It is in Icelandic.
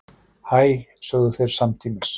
Hæ, sögðu þeir samtímis.